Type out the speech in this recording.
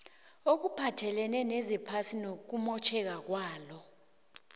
okuphathelene nezephasi nokumotjheka kwalo